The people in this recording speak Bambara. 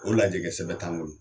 O lajɛkɛsɛbɛn t'an bolo